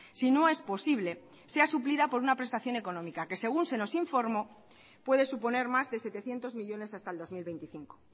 si no es posible sea suplida por una prestación económica que según se nos informó puede suponer más de setecientos millónes hasta el dos mil veinticinco